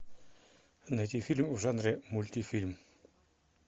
найти фильм в жанре мультфильм